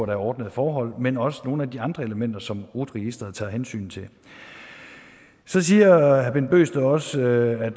er ordnede forhold men også nogle af de andre elementer som rut registeret tager hensyn til så siger herre bent bøgsted også at